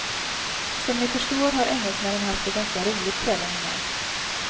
Som ni förstår har engelsmännen haft det ganska roligt kvällen innan.